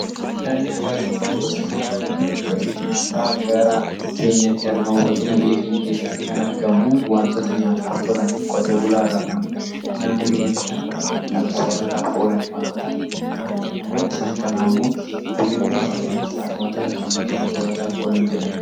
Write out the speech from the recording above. Midhaan nyaataa jechuun gosa nyaataa jechuun gosa nyaataa gara keenyatti argamu fakkenya biyya keenya keessatti kan argamu wantoota nyaataaf tolanii qotee bulaa irraa kan argamanfi naannoo keenyatti kan argaman kan soorataaf oolanii wantoota akkam jechuura kanaaf isaan kana ammoo beekuun barbaachisaa. wantoota akkamii kan soorataaf oolan jedhame?